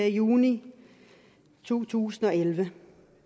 juni to tusind og elleve